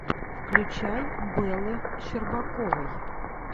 включай бэлы щербаковой